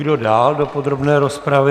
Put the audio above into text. Kdo dál do podrobné rozpravy?